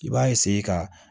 I b'a ka